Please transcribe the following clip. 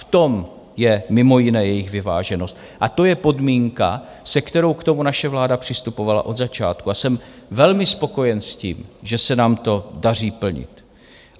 V tom je mimo jiné jejich vyváženost a to je podmínka, se kterou k tomu naše vláda přistupovala od začátku a jsem velmi spokojen s tím, že se nám to daří plnit.